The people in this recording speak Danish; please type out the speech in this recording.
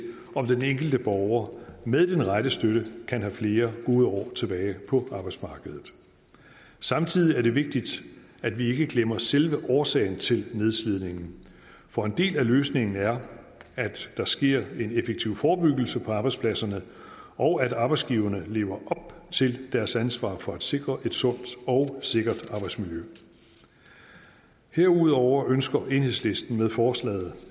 om den enkelte borger med den rette støtte kan have flere gode år tilbage på arbejdsmarkedet samtidig er det vigtigt at vi ikke glemmer selve årsagen til nedslidningen for en del af løsningen er at der sker en effektiv forebyggelse på arbejdspladserne og at arbejdsgiverne lever op til deres ansvar for at sikre et sundt og sikkert arbejdsmiljø herudover ønsker enhedslisten med forslaget